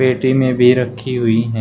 पेटी में भी रखी हुई है।